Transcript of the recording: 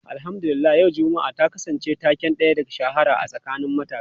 Alhamdu lillah yau Juma'a ta kasance taken da ya shahara a tsakanin matasa.